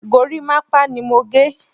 Gorímápá ni mo gé.